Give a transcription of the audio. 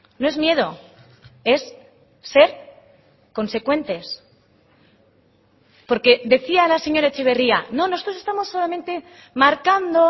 no es miedo es ser consecuentes porque decía la señora etxeberria no nosotros estamos solamente marcando